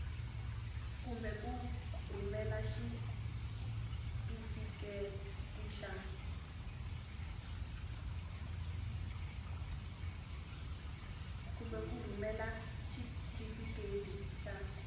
kumbe ku rhumela xitifiketi xa